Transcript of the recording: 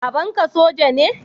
Babanka soja ne?